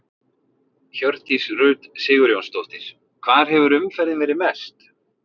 Hjördís Rut Sigurjónsdóttir: Hvar hefur umferðin verið mest?